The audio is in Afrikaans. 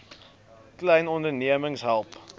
klein ondernemings help